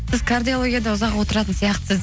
сіз кардиологияда ұзақ отыратын сияқтысыз